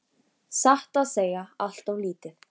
Satt að segja allt of lítið.